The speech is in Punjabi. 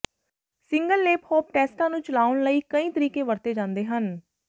ਸਿੰਗਲ ਲੇਪ ਹੌਪ ਟੈਸਟਾਂ ਨੂੰ ਚਲਾਉਣ ਲਈ ਕਈ ਤਰੀਕੇ ਵਰਤੇ ਜਾਂਦੇ ਹਨ